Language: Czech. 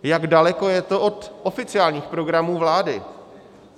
Jak daleko je to od oficiálních programů vlády?